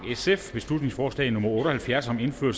beslutningsforslag nummer og halvfjerds